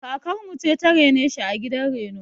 Kakar mu ce ta rene shi a gidan reno.